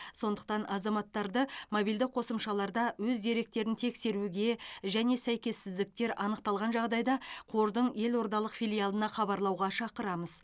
сондықтан азаматтарды мобильді қосымшаларда өз деректерін тексеруге және сәйкессіздіктер анықталған жағдайда қордың елордалық филиалына хабарлауға шақырамыз